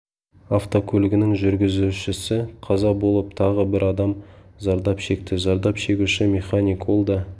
автокөлігінің жүргізушісі қаза болып тағы бір адам зардап шекті зардап шегуші механик ол да